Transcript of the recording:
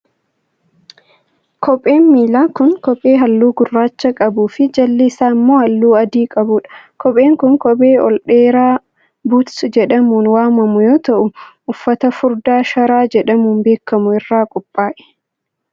Kopheen miilaa kun, kophee haalluu gurraacha qabuu fi jalli isaa immoo haalluu adii qabuu dha. Kopheen kun kophee ol dheeraa buuts jedhamuun waamamu yoo ta'u, uffata furdaa sharaa jedhamuun beekamu irraa qophaa'e.